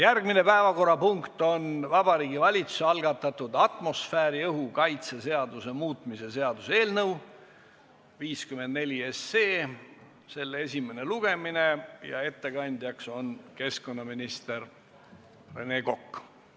Järgmine päevakorrapunkt on Vabariigi Valitsuse algatatud atmosfääriõhu kaitse seaduse muutmise seaduse eelnõu 54 esimene lugemine ja ettekandjaks on keskkonnaminister Rene Kokk.